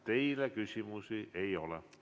Teile küsimusi ei ole.